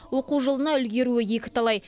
оқу жылына үлгеруі екіталай